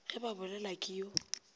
ge ba bolelelwa ke yo